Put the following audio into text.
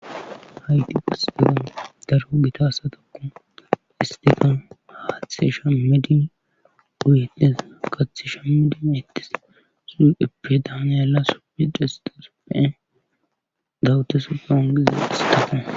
hayqi ges degon darho gita asatokku istika haathe shamidi duydes kath shammidin ettis suepe daani yala supe de sixe supeen gawute supfe ongiza isitafe